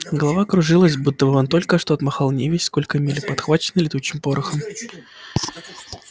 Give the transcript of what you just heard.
голова кружилась будто он только что отмахал невесть сколько миль подхваченный летучим порохом